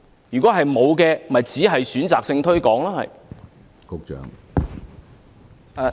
如果沒有，就是選擇性推廣。